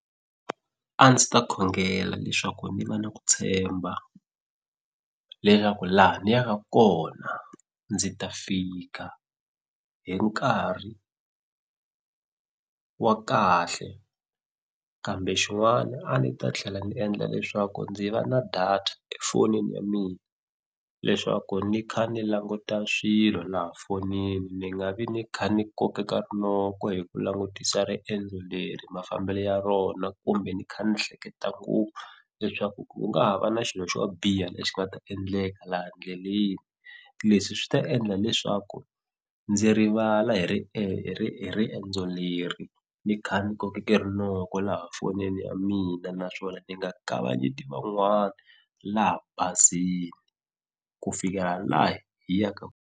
A ndzi ta khongela leswaku ni va na ku tshemba leswaku laha ni ya ka kona ndzi ta fika hi nkarhi wa kahle kambe xin'wana a ni ta tlhela ni endla leswaku ndzi va na data efonini ya mina leswaku ni kha ni languta swilo laha fonini ni nga vi ni kha ni kokeka rinoko hi ku langutisa riendzo leri mafambelo ya rona kumbe ni kha ni hleketa ku leswaku ku nga ha va na xilo xo biha lexi nga ta endleka laha ndleleni leswi swi ta endla leswaku ndzi rivala hi ri hi ri hi riendzo leri ni kha ni kokeke rinoko laha fonini ya mina naswona ni nga kavanyetiwi van'wani laha bazini ku fika laha hi yaka.